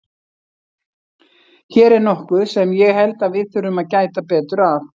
Hér er nokkuð sem ég held að við þurfum að gæta betur að.